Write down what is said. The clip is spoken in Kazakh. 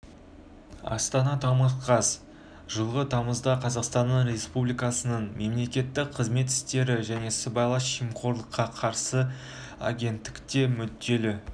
астана тамыз қаз жылғы тамызда қазақстан республикасының мемлекеттік қызмет істері және сыбайлас жемқорлыққа қарсы агенттікте мүдделі